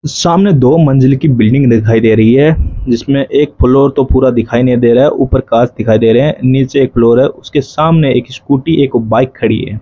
सामने दो मंजिल की बिल्डिंग दिखाई दे रही है जिसमें एक फ्लोर तो पूरा दिखाई नहीं दे रहा है ऊपर कांच दिखाई दे रहे हैं नीचे एक फ्लोर है उसके सामने एक स्कूटी एक बाइक खड़ी है।